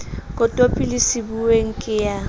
kotopi le sebuweng ke ya